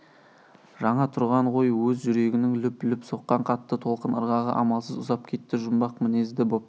жаңа тұрған ғой өз жүрегінің лүп-лүп соққан қатты толқын ырғағы амалсыз ұзап кетті жұмбақ мінезді боп